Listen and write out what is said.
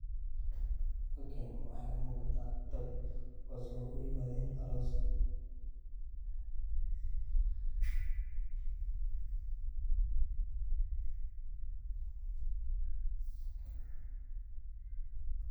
Halkani waxa iga muqata dad kuwas o yimaden aroos.